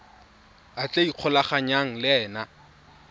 a tla ikgolaganyang le ena